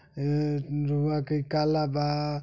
ए रउवा के काला बा।